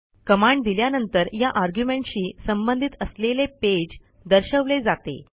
command दिल्यानंतर या argumentशी संबंधित असलेले पेज दर्शवले जाते